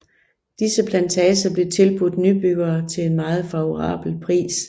Disse plantager blev tilbudt nybyggere til en meget favorabel pris